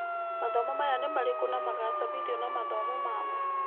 Mathomo maya nĩ marĩku na magacabithio na mawatho mamo.